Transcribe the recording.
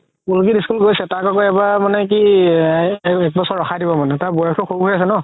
পুলকিত school গৈছে তাক আৰু এইবাৰ মানে কি একবছৰ ৰখাই দিব মানে তাৰ বয়সও সৰু হয় আছে ন